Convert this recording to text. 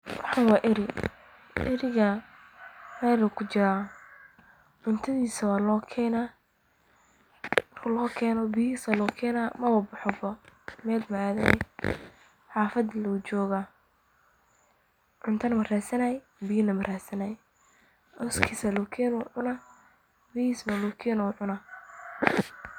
Kani wa ari, eriga mel ayukujira cuntadisa wa lokena, biya aya lokena mel maadayaan, hafada lee jogaa, cuntana maradsanay biyana maradsanay, cooskas aya lokena wu cunaa, biyihis wa lokena wucuna.